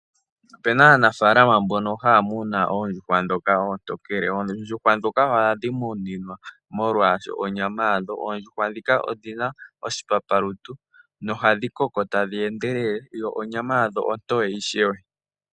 Ope na aanafaalama mbono haya muna oondjuhwa ndhoka oontokele. Oondjuhwa ndhoka ohadhi muninwa molwa onyama yadho. Oondjuhwa ndhika odhi na oshipapalutu nohadhi koko tadhi endelele, yo onyama yadho ontoye ishewe.